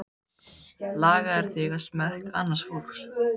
Lagaðir þig að smekk annars fólks.